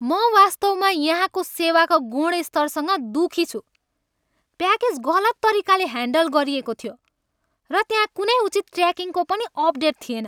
म वास्तवमा यहाँ को सेवाको गुणस्तरसँग दुःखी छु। प्याकेज गलत तरिकाले ह्यान्डल गरिएको थियो, र त्यहाँ कुनै उचित ट्र्याकिङको पनि अपडेट थिएन!